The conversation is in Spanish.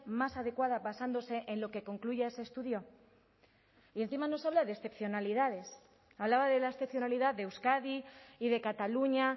más adecuada basándose en lo que concluya ese estudio y encima nos habla de excepcionalidades hablaba de la excepcionalidad de euskadi y de cataluña